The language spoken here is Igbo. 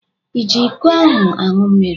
I ji iko ahụ aṅụ mmiri?